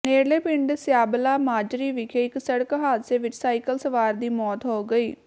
ਨੇੜਲੇ ਪਿੰਡ ਸਿਆਲਬਾ ਮਾਜਰੀ ਵਿਖੇ ਇੱਕ ਸੜਕ ਹਾਦਸੇ ਵਿਚ ਸਾਈਕਲ ਸਵਾਰ ਦੀ ਮੌਤ ਹੋ ਗਈ